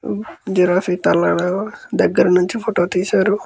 Giraffe తల దగ్గర నుంచి ఫోటో తీశారు.